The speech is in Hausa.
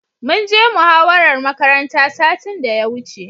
Mun je muhawarar makaranta satin da ya wuce.